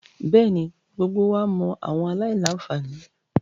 Bẹẹni, gbogbo wa mọ awọn alailanfani